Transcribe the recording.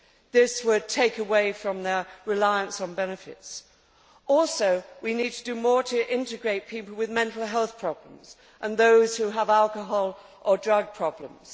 This would take away from their reliance on benefits. We also need to do more to integrate people with mental health problems and those who have alcohol or drug problems.